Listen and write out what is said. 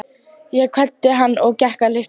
Ég kvaddi hann og gekk að lyftunni.